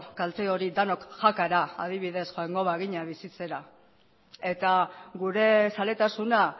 kalte hori denok jakara adibidez joango bagina bizitzera eta gure zaletasuna